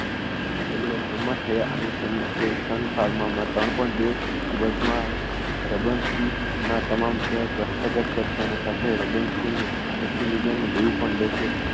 તેમણે સંમત થયા અને તેમણે તેઓ sun pharma માં ત્રણ point બે અબજ માં રેબંસ્કી ના તમામ share હસ્તગત કરતાની સાથે રેબંસ્કીનું એશી million નું દેવુ પણ લેશે